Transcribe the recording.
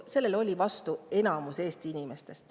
Sellele oli vastu enamik Eesti inimesi.